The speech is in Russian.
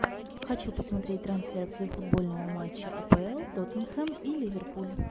хочу посмотреть трансляцию футбольного матча апл тоттенхэм и ливерпуль